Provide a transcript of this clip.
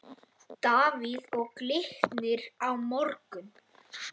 Davíð Og Glitnir á morgun.